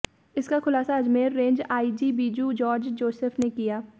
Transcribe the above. इसका खुलासा Ajmer range IG Biju George Joseph ने किया